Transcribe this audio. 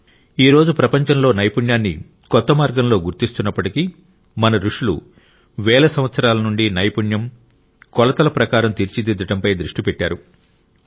ఈ రోజు ప్రపంచంలో నైపుణ్యాన్ని కొత్త మార్గంలో గుర్తిస్తున్నప్పటికీ మన రుషులు వేల సంవత్సరాల నుండి నైపుణ్యం కొలతల ప్రకారం తీర్చిదిద్దడంపై దృష్టి పెట్టారు